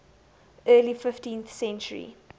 early fifteenth century